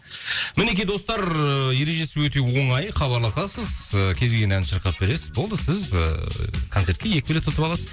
мінекей достар ыыы ережесі өте оңай хабарласасыз ыыы кез келген әнді шырқап бересіз болды сіз ыыы концертке екі билет ұтып аласыз